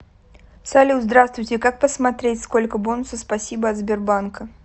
салют здравствуйте как посмотреть сколько бонусов спасибо от сбербанка